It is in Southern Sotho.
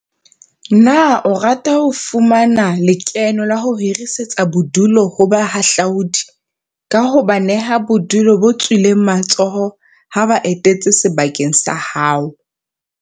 Na o rata ho fumana le keno ka ho hirisetsa bodulu ho bahahlaudi, ka ho ba neha bodulo bo tswileng matsoho ha ba etetse sebaka sa hao?